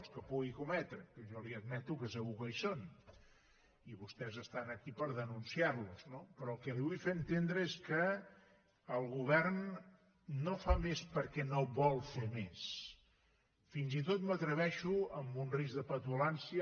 els que pugui cometre que jo li admeto que segur que hi són i vostès estan aquí per denun ciar los no però el que li vull fer entendre és que no és que el govern no fa més perquè no vol fer més fins i tot m’atreveixo amb un risc de petulància